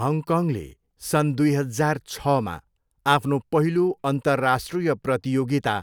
हङकङले सन् दुई हजार छमा आफ्नो पहिलो अन्तर्राष्ट्रिय प्रतियोगिता